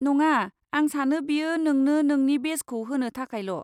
नङा, आं सानो बेयो नोंनो नोंनि बेजखौ होनो थाखायल'।